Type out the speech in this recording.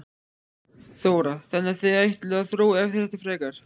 Þóra: Þannig að þið ætlið að þróa þetta frekar?